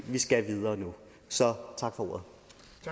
skal videre nu så tak for